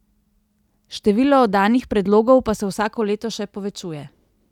Število oddanih predlogov pa se vsako leto še povečuje.